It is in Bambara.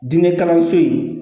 Diinɛ kalanso in